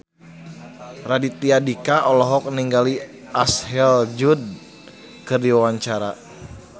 Raditya Dika olohok ningali Ashley Judd keur diwawancara